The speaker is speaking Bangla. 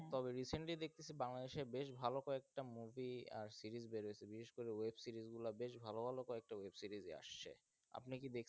তবে recently দেখতেসি বাংলাদেশের বেশ ভালো কয়েকটা movie আর series বেরাইশে বিশেষ করে web series গুলা বেশ ভালো ভালো কয়েকটা web series আসছে. আপনি কি দেখে?